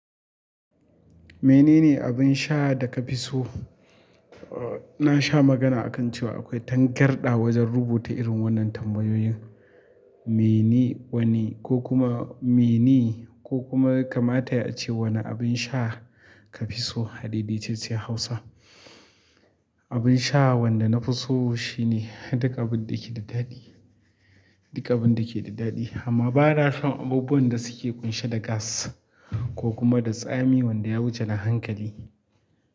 Mene ne abin sha da ka fi so? Na sha magana akan cewa akwai tangarɗa wajen rubuta irin wannan tambayoyin. Mene wane ko kuma mene ko kuma kamata yace wane abin sha ka fi so a dai-daitacciyar Hausa. Abin sha wanda na fi so shine duk abin da ke da daɗi, duk abin da ke da daɗi amma ba na shan abubuwan da suke ƙunshe da gas ko kuma da tsami wanda ya wuce na hankali.